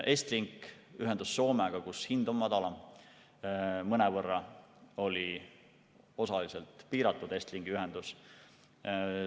Estlink ühendus Soomega, kus hind on madalam, mõnevõrra oli piiratud Estlinki ühendus.